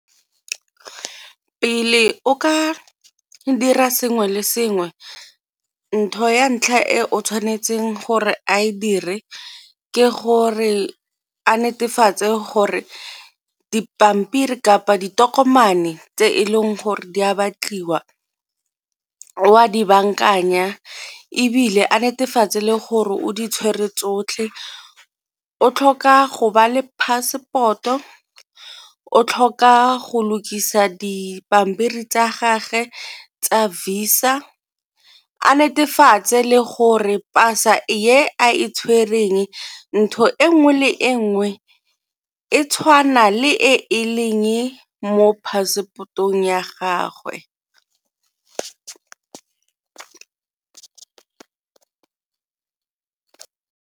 Pele o ka dira sengwe le sengwe ntho ya ntlha e o tshwanetseng gore a e dire ke gore a netefatse gore dipampiri kapa ditokomane tse e leng gore di a batliwa o a di bankanya, ebile a netefatse le gore o di tshwere tsotlhe. O tlhoka go ba le passport-o, o tlhoka go lokisa dipampiri tsa gage tsa Visa a netefatse le gore pasa e a e tshwereng ntho e nngwe le e nngwe e tshwana le e e leng mo passport-ong ya gagwe.